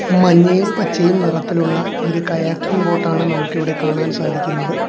മഞ്ഞയും പച്ചയും നിറത്തിലുള്ള ഒരു കയാക്കിംഗ് ബോട്ടാണ് നമുക്കിവിടെ കാണാൻ സാധിക്കുന്നത്.